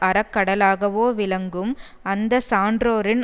அறக்கடலாகவோ விளங்கும் அந்த சான்றோரின்